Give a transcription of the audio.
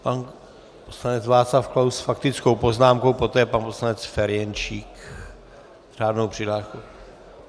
Pan poslanec Václav Klaus s faktickou poznámkou, poté pan poslanec Ferjenčík s řádnou přihláškou.